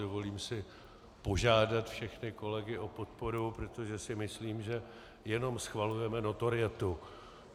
Dovolím si požádat všechny kolegy o podporu, protože si myslím, že jenom schvalujeme notorietu.